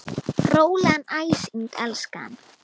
Rólegan æsing, elskan.